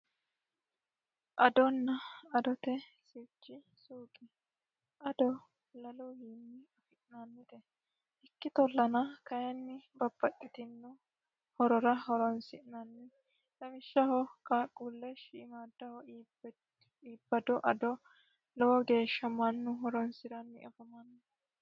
Adona adote sirchi suuqe. Ado laluyiiwi afi'nanite lawishshaho qaaqqulleho iibbado ado mannu horonsiranni afamanno.